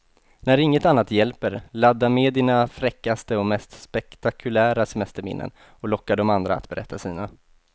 När inget annat hjälper, ladda med dina fräckaste och mest spektakulära semesterminnen och locka de andra att berätta sina.